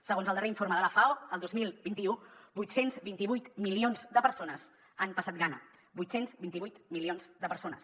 segons el darrer informe de la fao el dos mil vint u vuit cents i vint vuit milions de persones han passat gana vuit cents i vint vuit milions de persones